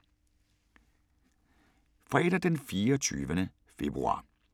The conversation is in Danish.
Fredag d. 24. februar 2017